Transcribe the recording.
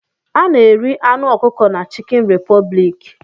A na-eri anụ ọkụkọ na chicken republic